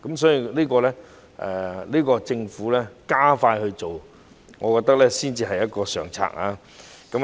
所以，我覺得政府加快這方面的工作才是上策。